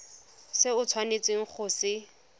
se o tshwanetseng go se